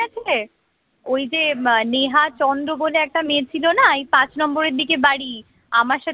মনে আছে ওই যে মানে নিহা চন্দ্র বলে একটা মেয়ে ছিলনা এই পাঁচ নম্বরের দিকে বাড়ি আমার সাথে